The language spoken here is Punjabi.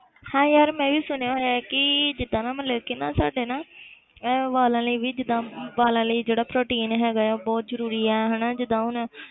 ਹਾਂ ਯਾਰ ਮੈਂ ਵੀ ਸੁਣਿਆ ਹੋਇਆ ਕਿ ਜਿੱਦਾਂ ਨਾ ਮਤਲਬ ਕਿ ਨਾ ਸਾਡੇ ਨਾ ਇਹ ਵਾਲਾ ਲਈ ਵੀ ਜਿੱਦਾਂ ਵਾਲਾਂ ਲਈ ਜਿਹੜਾ ਪ੍ਰੋਟੀਨ ਹੈਗਾ ਹੈ ਉਹ ਬਹੁਤ ਜ਼ਰੂਰੀ ਹੈ ਹਨਾ ਜਿੱਦਾਂ ਹੁਣ,